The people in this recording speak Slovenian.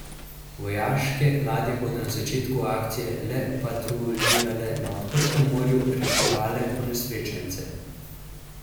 Vojaške ladje bodo na začetku akcije le patruljirale in na odprtem morju reševale ponesrečence.